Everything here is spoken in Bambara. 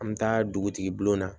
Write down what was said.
An bɛ taa dugutigi bulon na